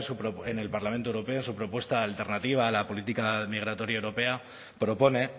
en el parlamento europeo su propuesta alternativa a la política migratoria europea propone